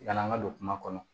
Yan'an ka don kuma kɔnɔ